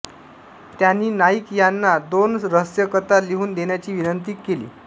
त्यांनी नाईक यांना दोन रहस्यकथा लिहून देण्याची विनंती केली